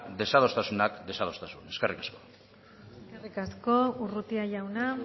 desadostasunak desadostasun eskerrik asko eskerrik asko urrutia jauna